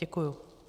Děkuji.